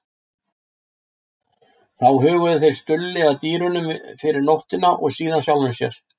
Þá huguðu þeir Stulli að dýrunum fyrir nóttina og síðan sjálfum sér.